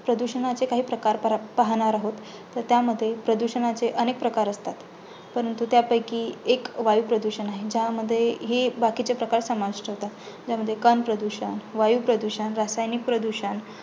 प्रदुषणाचे काही प्रकार प्रा पाहणार आहोत. त्यामध्ये प्रदुषणाचे अनेक प्रकार असतात. परंतु त्यापैकी एक वायुप्रदूषण आहे, ज्यामध्ये हे बाकीचे प्रकार समाविष्ट होतात, त्यामध्ये कणप्रदूषण, वायुप्रदूषण, रासायनिक प्रदूषण